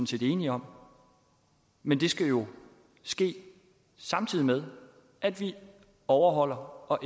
set enige om men det skal jo ske samtidig med at vi overholder og